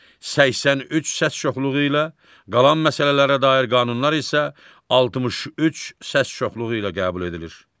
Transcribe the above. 83 səs çoxluğu ilə, qalan məsələlərə dair qanunlar isə 63 səs çoxluğu ilə qəbul edilir.